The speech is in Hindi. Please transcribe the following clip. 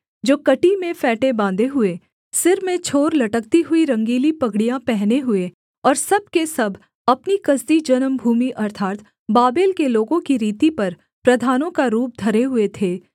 जो कमर में फेंटे बाँधे हुए सिर में छोर लटकती हुई रंगीली पगड़ियाँ पहने हुए और सब के सब अपनी कसदी जन्मभूमि अर्थात् बाबेल के लोगों की रीति पर प्रधानों का रूप धरे हुए थे